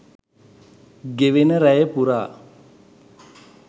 ගෙවෙන රැය පුරා